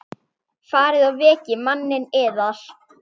Farið og vekið manninn yðar.